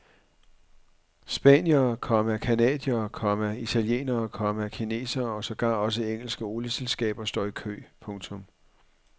Spaniere, komma canadiere, komma italienere, komma kinesere og sågar også engelske olieselskaber står i kø. punktum